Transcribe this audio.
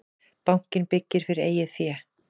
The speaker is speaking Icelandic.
Bankinn byggir fyrir eigið fé